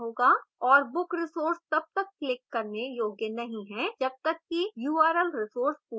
और book resource तब तक clickable करने योग्य नहीं है जब तक कि url resource पूरा चिह्नित नहीं हो जाता